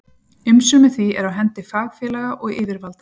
Umsjón með því er á hendi fagfélaga og yfirvalda.